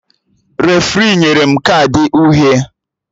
Refri nyere m kaadị uhie